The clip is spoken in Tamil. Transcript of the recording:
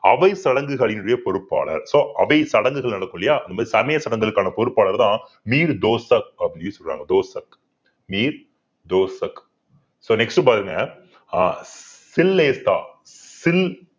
அவை சடங்குகளினுடைய பொறுப்பாளர் so அவை சடங்குகள் நடக்கும் இல்லையா அந்த சமய சடங்குகளுக்கான பொறுப்பாளர்தான் அப்படின்னு சொல்றாங்க so next பாருங்க ஆஹ்